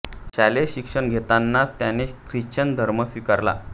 शालेय शिक्षण घेत असतानाच त्याने ख्रिश्चन धर्म स्वीकारला